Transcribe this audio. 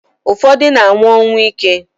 Ufodu na anwu onwuike